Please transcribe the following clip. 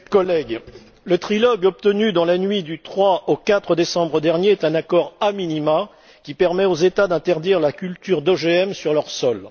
Madame la Présidente, chers collègues, le trilogue obtenu dans la nuit du 3 au 4 décembre dernier est un accord a minima qui permet aux États d'interdire la culture d'OGM sur leur sol.